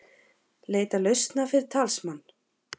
Leita lausna fyrir talsmann